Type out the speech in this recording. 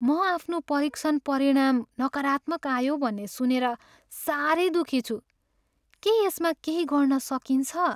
म आफ्नो परीक्षण परिणाम नकारात्मक आयो भन्ने सुनेर साह्रै दुःखी छु। के यसमा केही गर्न सकिन्छ?